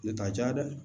Ne ka ja dɛ